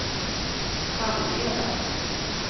Hamneda